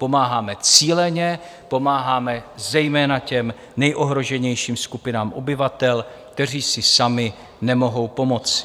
Pomáháme cíleně, pomáháme zejména těm nejohroženějším skupinám obyvatel, kteří si sami nemohou pomoct.